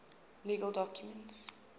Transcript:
legal documents